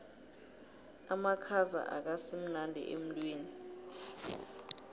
amakhaza akasimnandi emtwini